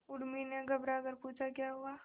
उर्मी ने घबराकर पूछा क्या हुआ